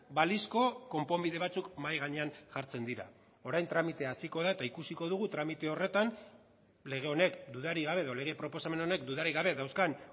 balizko konponbide batzuk mahai gainean jartzen dira orain tramitea hasiko da eta ikusiko dugu tramite horretan lege honek dudarik gabe edo lege proposamen honek dudarik gabe dauzkan